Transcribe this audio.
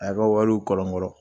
A y'a ka wariw kɔrɔnkɔrɔn